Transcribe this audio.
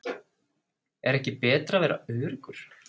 Er ekki betra að vera öruggur?